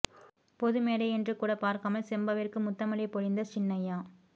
பொது மேடை என்று கூட பார்க்காமல் செம்பாவிற்கு முத்தமழை பொழிந்த சின்னைய்யா